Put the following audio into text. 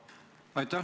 Aitäh!